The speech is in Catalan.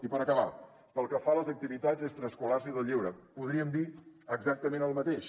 i per acabar pel que fa a les activitats extraescolars i del lleure podríem dir exactament el mateix